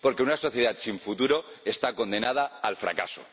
Porque una sociedad sin futuro está condenada al fracaso.